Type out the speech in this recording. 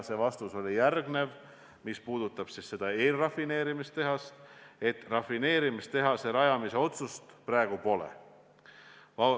Vastus oli selline, et mis puudutab eelrafineerimistehast, siis selle rajamise otsust praegu pole.